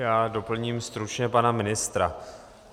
Já doplním stručně pana ministra.